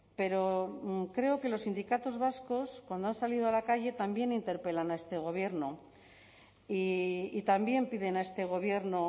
pero creo que los sindicatos vascos cuando han salido a la calle también interpelan a este gobierno y también piden a este gobierno